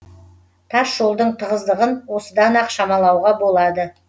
тас жолдың тығыздығын осыдан ақ шамалауға болады